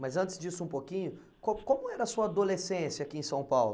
Mas antes disso um pouquinho, co como era a sua adolescência aqui em São Paulo?